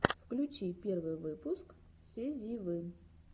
включи первый выпуск фезивы